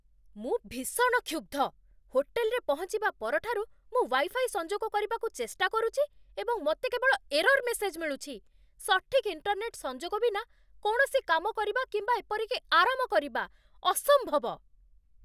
ମୁଁ ଭୀଷଣ କ୍ଷୁବ୍ଧ ! ହୋଟେଲରେ ପହଞ୍ଚିବା ପରଠାରୁ ମୁଁ ୱାଇଫାଇ ସଂଯୋଗ କରିବାକୁ ଚେଷ୍ଟା କରୁଛି, ଏବଂ ମୋତେ କେବଳ ଏରର୍ ମେସେଜ୍ ମିଳୁଛି। ସଠିକ୍ ଇଣ୍ଟର୍ନେଟ୍ ସଂଯୋଗ ବିନା କୌଣସି କାମ କରିବା କିମ୍ବା ଏପରିକି ଆରାମ କରିବା ଅସମ୍ଭବ।